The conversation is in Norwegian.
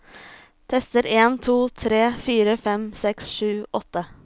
Tester en to tre fire fem seks sju åtte